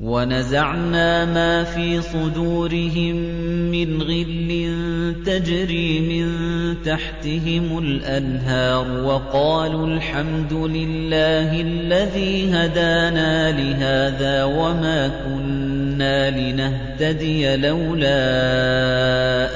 وَنَزَعْنَا مَا فِي صُدُورِهِم مِّنْ غِلٍّ تَجْرِي مِن تَحْتِهِمُ الْأَنْهَارُ ۖ وَقَالُوا الْحَمْدُ لِلَّهِ الَّذِي هَدَانَا لِهَٰذَا وَمَا كُنَّا لِنَهْتَدِيَ لَوْلَا